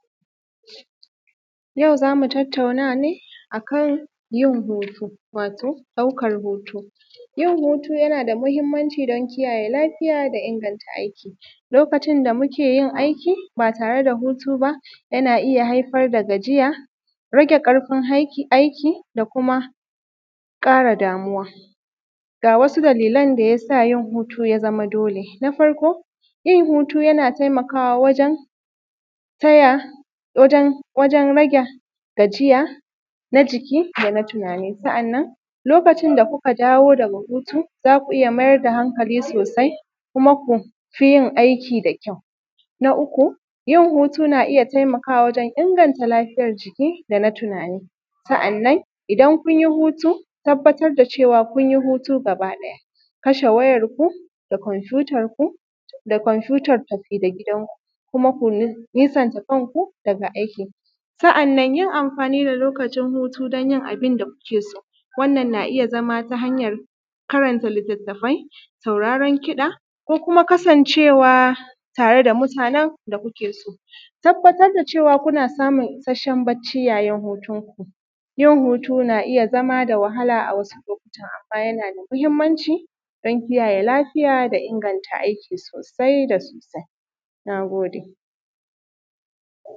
yau za mu tattauna ne a kan yin hutu wato ɗaukar hutu yin hutu yana da muhimmanci don kiyaye lafiya da inganta aiki lokacin da mu ke yin aiki ba tare da hutu ba yana iya haifar da gajiya rage ƙarfin aiki da kuma ƙara damuwa ga wasu dalilan da ya sa yin hutu ya zama dole na farko yin hutu yana taimakawa wajan rage gajiya na jiki da na tunani sa’annan lokacin da kuka dawo daga hutu za ku iya mai da hankali sosai kuma ku fi yin aiki da kyau na uku yin hutu na iya taimakawa wajan inganta lafiyar jiki da na tunani sa’annan idan kun yi hutu ku tabbatar da cewa kun yi hutu gaba ɗaya ku kashe wayar ku da komfutar ku da komfutar tafi da gidanku kuma ku nisanta kanku daga aiki sa’annan yin amfani da lokacin hutu don yin abinda ku ke so wannan na iya zama ta hanyar karanta littattafai sauraren kiɗa ko kuma kasancewa tare da mutanen da ku ke so ku tabbatar da cewa ku na samun isasshen bacci yayin hutunku yin hutu na iya zama da wahala a wasu lokutan amma yana da muhimmanci don kiyaye lafiya da inganta aiki sosai da sosai na gode